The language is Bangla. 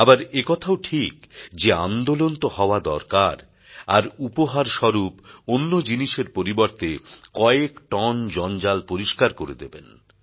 আবার একথাও ঠিক যে আন্দোলন তো হওয়া দরকার আর উপহারস্বরূপ অন্য জিনিসের পরিবর্তে কয়েক টন জঞ্জাল পরিস্কার করে দেবেন